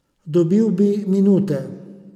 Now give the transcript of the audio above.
Dobil bi minute.